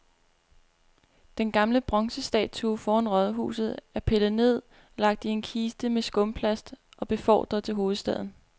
Den gamle bronzestatue foran rådhuset er pillet ned, lagt i en kiste med skumplast og befordret til hovedstaden.